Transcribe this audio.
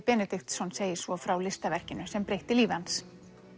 Benediktsson segir svo frá listaverkinu sem breytti lífi hans